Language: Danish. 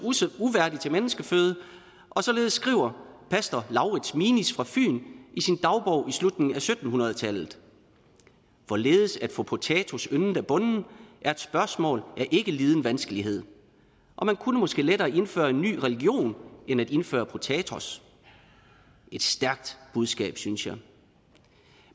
uværdig til menneskeføde og således skriver pastor lauritz minis fyn i sin dagbog i slutningen af sytten hundrede tallet hvorledes at få potatos yndet af bonden er et spørgsmål af ikke liden vanskelighed … og man kunne måske lettere indføre en ny religion end at indføre potatos et stærkt budskab synes jeg